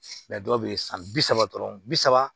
dɔw bɛ yen san bi saba dɔrɔn bi saba